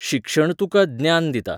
शिक्षण तुका ज्ञान दिता.